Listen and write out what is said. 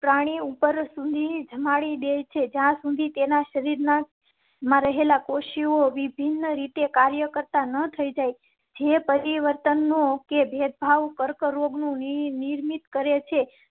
અ પ્રાણી ઉપર સુધી જમાવી દે છે. જ્યાં સુધી તેના શરીર માં રહેલા કોષો વિભિન્ન રીતે કાર્ય કરતાં ન થઇ જાય. જે પરિવર્તનો કે ભેદભાવ કર્કરોગ નિર્મિત કરેં છે